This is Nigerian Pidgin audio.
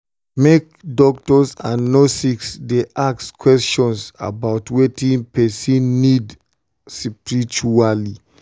make doctors and nurses dey ask question about wetin person need um spritually.